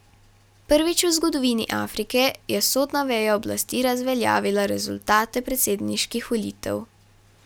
Prvič v zgodovini Afrike je sodna veja oblasti razveljavila rezultate predsedniških volitev.